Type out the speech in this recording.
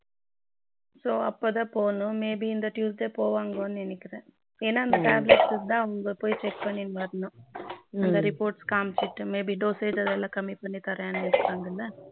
so அப்போதா போகணும் may be இந்த tuesday போவாங்கன்னு நினைக்கிறேன் ஏன்னா அந்த tablet தான் அவங்க போய் check பண்ணிட்டு வரணும் அந்த report காமிச்சுட்டு maybe dosage அதெல்லாம் கம்மி பண்ணி தரேன்னு இருக்காங்க